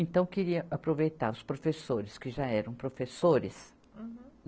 Então, queria aproveitar os professores, que já eram professores. Uhum.